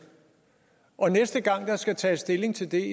og næste gang der skal tages stilling til det